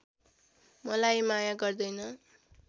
मलाई माया गर्दैन